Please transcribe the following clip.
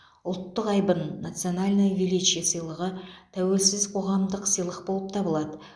ұлттық айбын национальное величие сыйлығы тәуелсіз қоғамдық сыйлық болып табылады